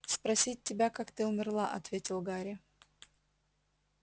спросить тебя как ты умерла ответил гарри